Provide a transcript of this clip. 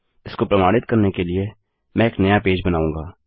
इसको प्रमाणित करने के लिए मैं एक नया पेज बनाऊँगा